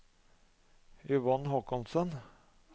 Yvonne Håkonsen